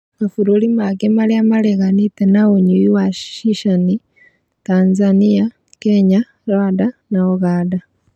Mabũrũrĩ mangĩ marĩa mareganĩte na ũnyui wa cica nĩ, Tanzania, Kenya, Rwanda na ũganda